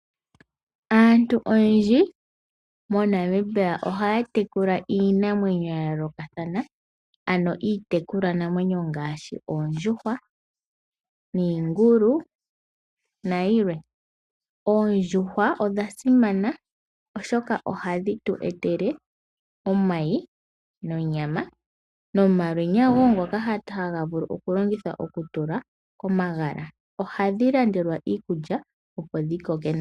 Aantu oyendji moNamibia ohaya tekula iinamwenyo ya yoolokathana, ano iitekulwa namwenyo ngaashi Oondjuhwa niingulu nayilwe. Oondjuhwa odha sima oshoka ohadhi tu etele omayi nonyama no malwenya wo ngoka haga vulu oku longithwa oku tula komagala. Ohadhi landelwa iikulya opo dhi koke.